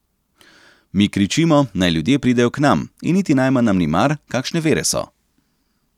Mi kričimo, naj ljudje pridejo k nam, in niti najmanj nam ni mar, kakšne vere so.